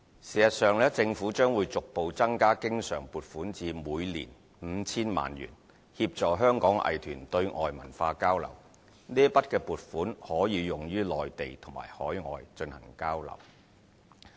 事實上，政府將會逐步增加經常撥款至每年 5,000 萬元，協助香港藝團對外文化交流，這筆撥款可以用於內地及海外進行交流。